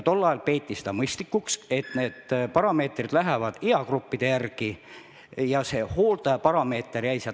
Tol ajal peeti mõistlikuks, et parameetrid järgivad eagruppe, hooldajaparameeter jäi ära.